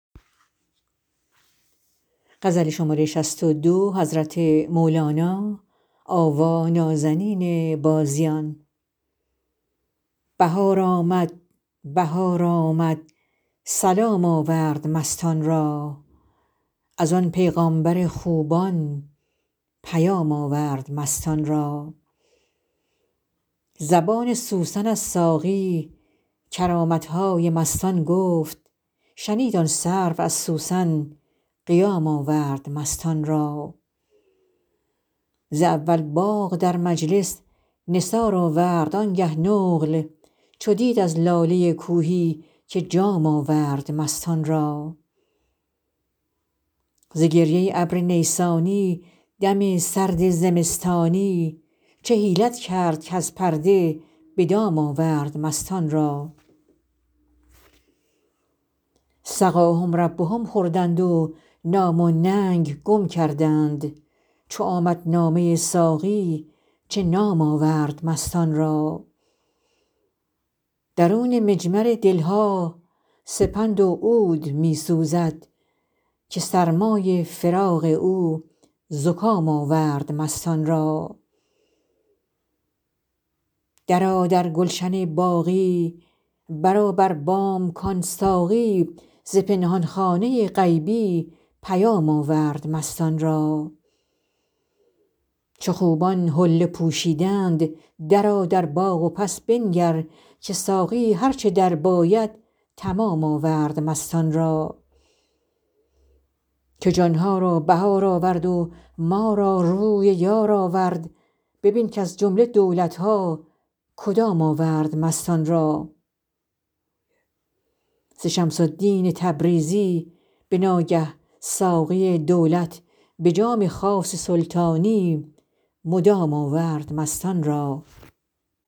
بهار آمد بهار آمد سلام آورد مستان را از آن پیغامبر خوبان پیام آورد مستان را زبان سوسن از ساقی کرامت های مستان گفت شنید آن سرو از سوسن قیام آورد مستان را ز اول باغ در مجلس نثار آورد آنگه نقل چو دید از لاله کوهی که جام آورد مستان را ز گریه ابر نیسانی دم سرد زمستانی چه حیلت کرد کز پرده به دام آورد مستان را سقاهم ربهم خوردند و نام و ننگ گم کردند چو آمد نامه ساقی چه نام آورد مستان را درون مجمر دل ها سپند و عود می سوزد که سرمای فراق او زکام آورد مستان را درآ در گلشن باقی برآ بر بام کان ساقی ز پنهان خانه غیبی پیام آورد مستان را چو خوبان حله پوشیدند درآ در باغ و پس بنگر که ساقی هر چه درباید تمام آورد مستان را که جان ها را بهار آورد و ما را روی یار آورد ببین کز جمله دولت ها کدام آورد مستان را ز شمس الدین تبریزی به ناگه ساقی دولت به جام خاص سلطانی مدام آورد مستان را